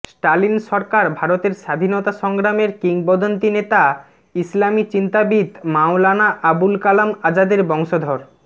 Stalin সরকার ভারতের স্বাধীনতা সংগ্রামের কিংবদন্তী নেতা ইসলামী চিন্তাবিদ মাওলানা আবুল কালাম আজাদের বংশধর